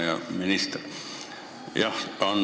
Hea minister!